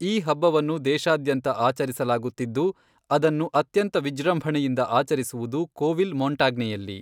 ಈ ಹಬ್ಬವನ್ನು ದೇಶಾದ್ಯಂತ ಆಚರಿಸಲಾಗುತ್ತಿದ್ದು, ಅದನ್ನು ಅತ್ಯಂತ ವಿಜೃಂಭಣೆಯಿಂದ ಆಚರಿಸುವುದು ಕೋವಿಲ್ ಮೊಂಟಾಗ್ನೆಯಲ್ಲಿ.